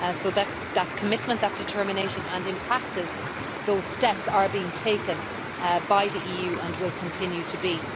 That commitment, that determination and in practice those steps are being taken by the EU and will continue to be.